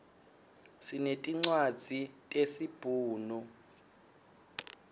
sinetincwadzi tesi bhunu